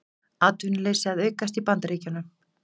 Atvinnuleysi að aukast í Bandaríkjunum